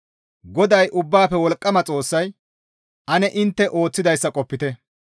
GODAY Ubbaafe Wolqqama Xoossay, «Ane intte ooththidayssa qopite.